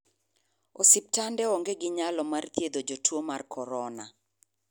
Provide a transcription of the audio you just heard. Osiptende onge ginyalo mar thiedho jotuo mar corona.